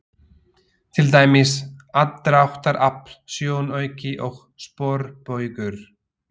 Til dæmis: aðdráttarafl, sjónauki og sporbaugur.